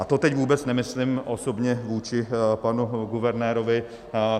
A to teď vůbec nemyslím osobně vůči panu guvernérovi.